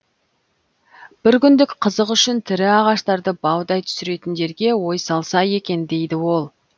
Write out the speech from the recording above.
бір күндік қызық үшін тірі ағаштарды баудай түсіретіндерге ой салса екен дейді ол